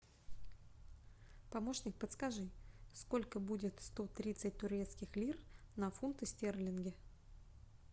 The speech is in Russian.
помощник подскажи сколько будет сто тридцать турецких лир на фунты стерлинги